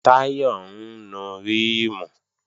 Táyọ̀ ń nu ríìmù